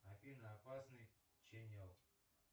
афина опасный чениал